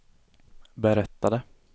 berättade